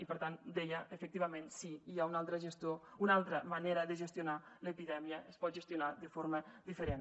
i per tant deia efectivament sí hi ha una altra manera de gestionar l’epidèmia es pot gestionar de forma diferent